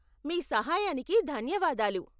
మీ సహాయానికి ధన్యవాదాలు.